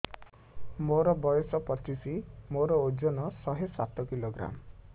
ମୋର ବୟସ ପଚିଶି ମୋର ଓଜନ ଶହେ ସାତ କିଲୋଗ୍ରାମ